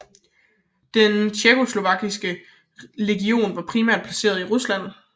Den tjekkoslovakiske legion var primært placeret i Rusland